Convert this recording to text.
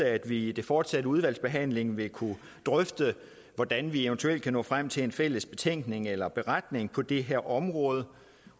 at vi i den fortsatte udvalgsbehandling vil kunne drøfte hvordan vi eventuelt kan nå frem til en fælles betænkning eller beretning på det her område